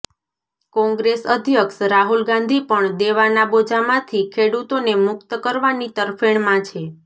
કોંગ્રેસ અધ્યક્ષ રાહુલ ગાંધી પણ દેવાના બોજામાંથી ખેડૂતોને મુકત કરવાની તરફેણમાં છે